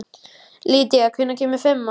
Lýdía, hvenær kemur fimman?